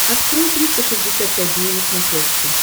открой триста шестьдесят пять дней на смотрешке